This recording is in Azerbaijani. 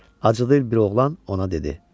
Acgöz dil bir oğlan ona dedi: